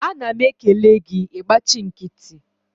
a na m ekele gi, i gbachi nkiti